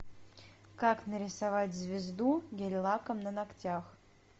как нарисовать звезду гель лаком на ногтях